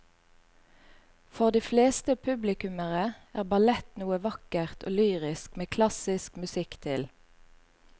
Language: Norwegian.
For de fleste publikummere er ballett noe vakkert og lyrisk med klassisk musikk til.